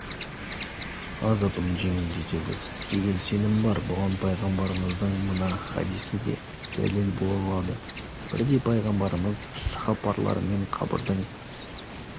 азабын жеңілдетеді деген сенім бар бұған пайғамбарымыздың мына хадисі де дәлел бола алады бірде пайғамбарымыз сахабаларымен қабірдің